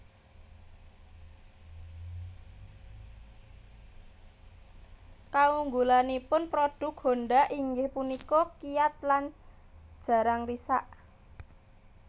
Kaunggulanipun prodhuk Honda inggih punika kiyat lan jarang risak